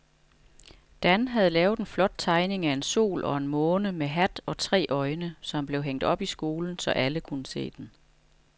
Dan havde lavet en flot tegning af en sol og en måne med hat og tre øjne, som blev hængt op i skolen, så alle kunne se den.